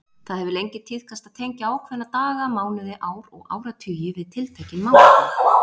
Það hefur lengi tíðkast að tengja ákveðna daga, mánuði, ár og áratugi við tiltekin málefni.